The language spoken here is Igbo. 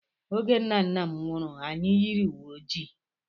Oge nna nna m nwụrụ, anyị yiri uwe ojii.